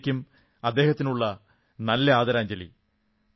ഇതായിരിക്കും അദ്ദേഹത്തിനുള്ള നല്ല ആദരാഞ്ജലി